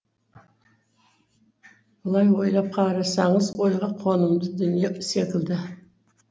былай ойлап қарасаңыз ойға қонымды дүние секілді